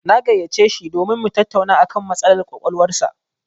Na gayyaci shi domin mu tattauna a kan matsalar ƙwaƙwalwar sa.